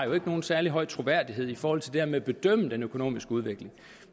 nogen særlig høj troværdighed i forhold til det her med at bedømme den økonomiske udvikling